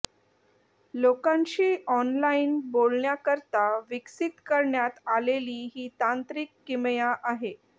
लोकांशी ऑनलाइन बोलण्याकरता विकसित करण्यात आलेली ही तांत्रिक किमया आहे